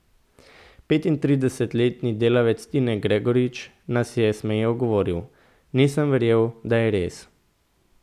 Petintridesetletni delavec Tine Gregorič nas je smeje ogovoril: 'Nisem verjel, da je res.